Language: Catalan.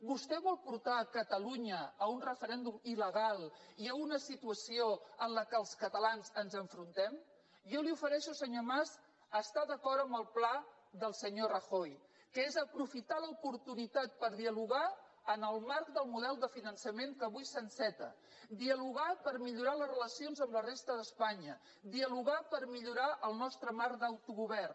vostè vol portar catalunya a un referèndum iluna situació en què els catalans ens enfrontem jo li ofereixo senyor mas estar d’acord amb el pla del senyor rajoy que és aprofitar l’oportunitat per dialogar en el marc del model de finançament que avui s’enceta dialogar per millorar les relacions amb la resta d’espanya dialogar per millorar el nostre marc d’autogovern